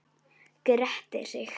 Grettir sig.